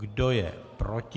Kdo je proti?